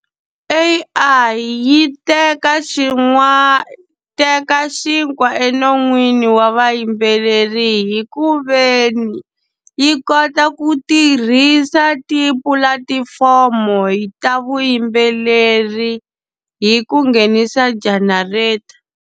A_I yi teka teka xinkwa enon'wini wa vayimbeleri hikuveni, yi kota ku tirhisa tipulatifomo ta vuyimbeleri hi ku nghenisa generator.